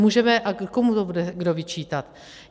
Můžeme - a komu to bude kdo vyčítat?